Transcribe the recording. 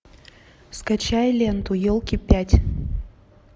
скачай ленту елки пять